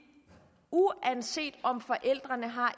uanset om forældrene har